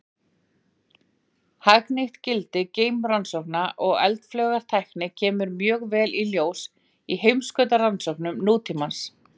Hagnýtt gildi geimrannsókna og eldflaugatækni kemur mjög vel í ljós í heimskautarannsóknum nútímans.